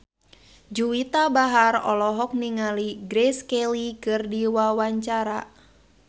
Juwita Bahar olohok ningali Grace Kelly keur diwawancara